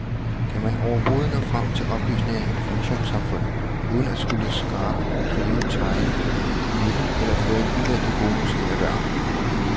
Kan man overhovedet nå frem til oplysninger i informationssamfundet uden at skulle skrabe, rive, tegne, vinde eller få en uventet bonus ind ad døren.